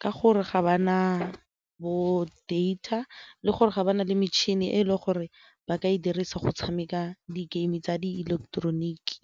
ka gore ga ba na bo-data le gore ga ba na le metšhini e e le gore ba ka e dirisa go tshameka di-game tsa di ileketeroniki.